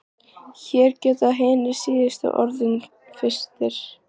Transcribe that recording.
Hér geta hinir síðustu orðið fyrstir.